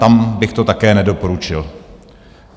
Tam bych to také nedoporučil.